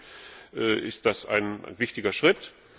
Trotzdem ist das ein wichtiger Schritt.